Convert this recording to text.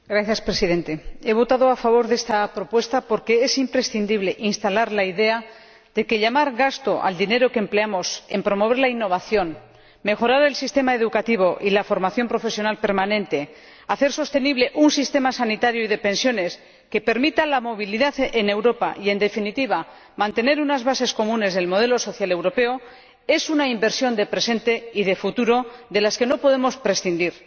Señor Presidente, he votado a favor de esta propuesta porque es imprescindible instalar la idea de que el dinero que empleamos en promover la innovación, mejorar el sistema educativo y la formación profesional permanente, hacer sostenible un sistema sanitario y de pensiones que permita la movilidad en Europa y, en definitiva, mantener unas bases comunes del modelo social europeo, es una inversión de presente y de futuro de la que no podemos prescindir.